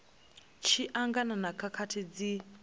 tshi angana na khakhathi dzi